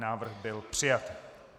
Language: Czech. Návrh byl přijat.